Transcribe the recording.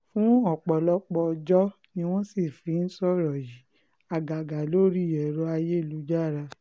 fún ọ̀pọ̀lọpọ̀ ọjọ́ ni wọ́n sì fi ń sọ̀rọ̀ yìí àgàgà lórí ẹ̀rọ ayélujára